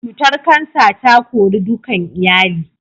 Cutar kansa ta kori dukan iyali